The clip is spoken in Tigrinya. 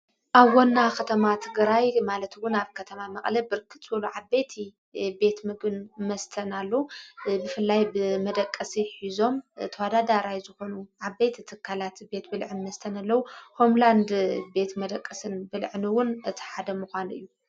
ኣብ ዋና ኸተማ ትግራይ ማለትውን ኣብ ከተማ መቀለ ብርክት ዝበሉ ዓበቲ ቤት ምግን መስተን ኣሎ። ብፍላይ ብ መደቀሲ ሒዞም ተዋዳዳ ራይ ዝኾኑ ዓቤት ትካላት ቤት ብልዕን መስተን ኣለዉ ።ሆምላንድ ቤት መደቀስን ብልዕን ውን ተሓደምኳኑ እዩ።